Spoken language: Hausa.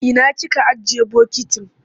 Ina kika ajiye bokitin?